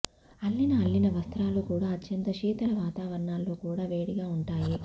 అల్లిన అల్లిన వస్త్రాలు కూడా అత్యంత శీతల వాతావరణాల్లో కూడా వేడిగా ఉంటాయి